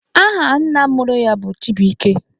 Aha nna mụrụ ya bụ Chibuike.